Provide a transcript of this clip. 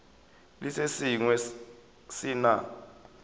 le se sengwe se na